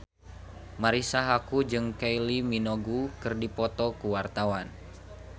Marisa Haque jeung Kylie Minogue keur dipoto ku wartawan